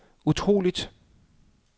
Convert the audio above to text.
utroligt